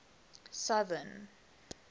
southern